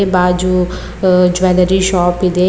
ಬಾಜು ಆ jewellery shop ಇದೆ..